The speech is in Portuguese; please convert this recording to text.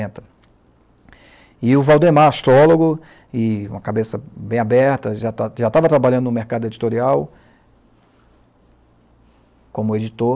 E o Valdemar, astrólogo, com a cabeça bem aberta, já já estava trabalhando no mercado editorial, como editor.